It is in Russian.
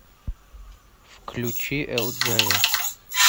включи элджея